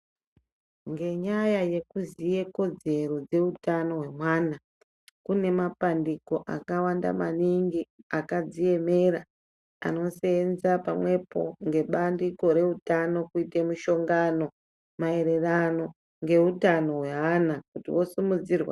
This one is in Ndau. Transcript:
Ngenyaya yekuziya kodzero dzehutano dzemwana, kune mapandiko akawanda maningi akadziemera anoseenza pamwepo ngebandiko reutano kuite mushongano maererano ngeutano hweana